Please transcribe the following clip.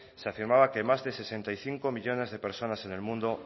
se afirmaba que más de sesenta y cinco millónes de personas en el mundo